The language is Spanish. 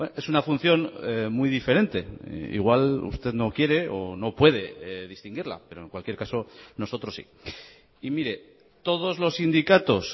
es una función muy diferente igual usted no quiere o no puede distinguirla pero en cualquier caso nosotros sí y mire todos los sindicatos